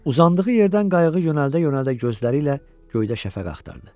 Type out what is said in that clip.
Uzandığı yerdən qayığı yönəldə-yönəldə gözləri ilə göydə şəfəq axtardı.